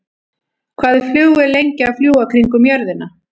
Hvað er flugvél lengi að fljúga kringum jörðina?